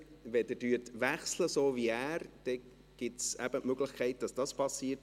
Wenn Sie Sprache wechseln, so wie er, dann gibt es eben die Möglichkeit, dass das passiert.